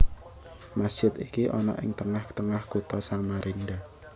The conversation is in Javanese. Masjid iki ana ing tengah tengah Kutha Samarinda